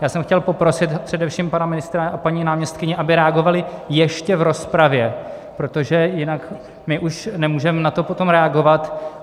Já jsem chtěl poprosit především pana ministra a paní náměstkyni, aby reagovali ještě v rozpravě, protože jinak my už nemůžeme na to potom reagovat.